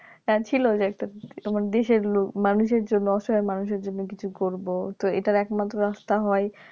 হ্যাঁ ছিল যে একটা আমার দেশের লোক মানুষের জন্য অসহায় মানুষের জন্য কিছু করবো তো এটার একমাত্র রাস্তা হয়